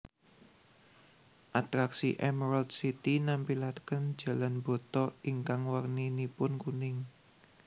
Atraksi Emerald City nampilaken jalan bata ingkang warninipun kuning